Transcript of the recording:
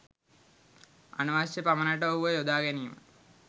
අනවශ්‍ය පමනට ඔහුව යොදා ගැනීම